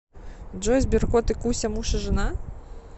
джой сберкот и куся муж и жена